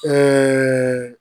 Ɛɛ